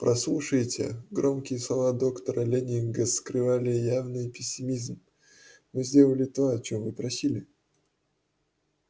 прослушайте громкие слова доктора леннинга скрывали явный пессимизм мы сделали то о чём вы просили